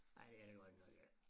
Nej det er der godt nok ik